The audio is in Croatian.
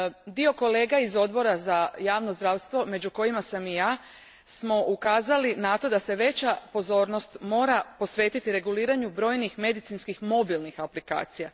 Dio kolega iz Odbora za javno zdravstvo, među kojima sam i ja, ukazao je na to da se veća pozornost mora posvetiti reguliranju brojnih medicinskih mobilnih aplikacija.